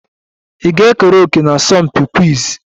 Ị ga-ekere òkè na asọmpi quiz?